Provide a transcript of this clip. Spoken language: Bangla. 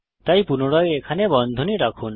তাই পুনরায় এখানে বন্ধনী রাখুন